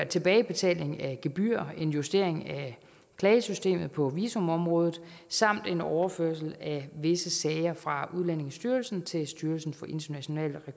tilbagebetaling af gebyrer en justering af klagesystemet på visumområdet samt en overførsel af visse sager fra udlændingestyrelsen til styrelsen for international